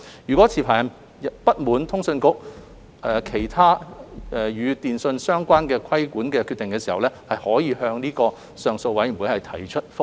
若持牌人不滿意通訊局其他與電訊相關的規管決定，可以向上訴委員會提出覆核。